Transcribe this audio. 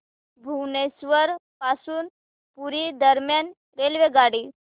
भुवनेश्वर पासून पुरी दरम्यान रेल्वेगाडी